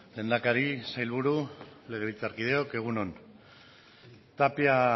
lehendakari sailburu legebiltzarkideok egun on tapia